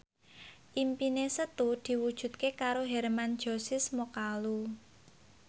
impine Setu diwujudke karo Hermann Josis Mokalu